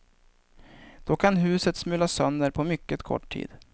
Då kan huset smulas sönder på mycket kort tid.